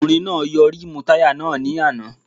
Ọkùnrin náà yọ rímùù táyà náà ní àná